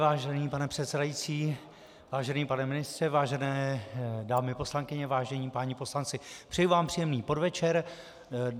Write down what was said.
Vážený pane předsedající, vážený pane ministře, vážené dámy poslankyně, vážení páni poslanci, přeji vám příjemný podvečer.